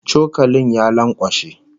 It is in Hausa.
Cokalin ya lankwashe